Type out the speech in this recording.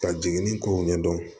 Ka jiginni kow ɲɛdɔn